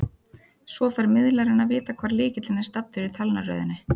Svo fær miðlarinn að vita hvar lykillinn er staddur í talnaröðinni.